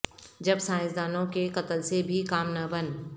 جب سائنسدانوں کے قتل سے بھی کام نہ بن